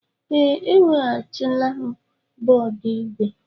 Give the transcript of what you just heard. Ee, eweghachila m bọọdụ ígwè.